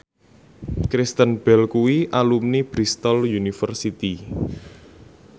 Kristen Bell kuwi alumni Bristol university